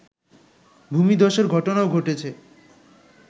ভূমিধ্বসের ঘটনাও ঘটেছে